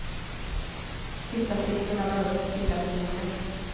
Tittarsiffrorna var upp i fyra miljoner.